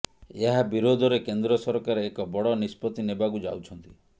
ଏହା ବିରୋଧରେ କେନ୍ଦ୍ର ସରକାର ଏକ ବଡ଼ ନିଷ୍ପତ୍ତି ନେବାକୁ ଯାଉଛନ୍ତି